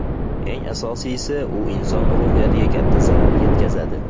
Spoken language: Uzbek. Eng asosiysi, u inson ruhiyatiga katta zarar yetkazadi.